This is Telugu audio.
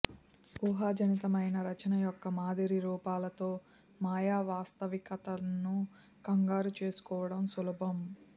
ఊహాజనితమైన రచన యొక్క మాదిరి రూపాలతో మాయా వాస్తవికతను కంగారు చేసుకోవడం సులభం